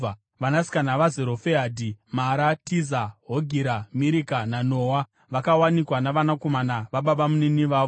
Vanasikana vaZerofehadhi, Mara, Tiza, Hogira, Mirika naNoa vakawanikwa navanakomana vababamunini vavo.